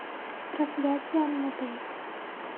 проклятие аннабель